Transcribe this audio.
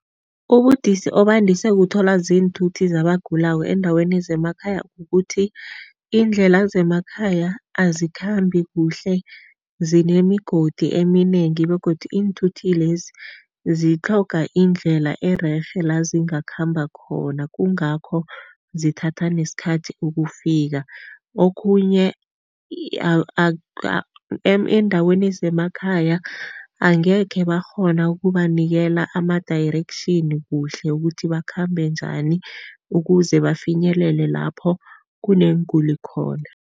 Ubudisi obandise kuthola ziinthuthi zabagulako eendaweni zemakhaya kukuthi, iindlela zemakhaya azikhambi kuhle zinemigodi eminengi begodu iinthuthi lezi zitlhoga indlela ererhe la zingakhamba khona, kungakho zithatha nesikhathi ukufika. Okhunye endaweni zemakhaya angekhe bakghona ukubanikela ama-direction kuhle ukuthi bakhambe njani ukuze bafinyelele lapho kuneenguli khona.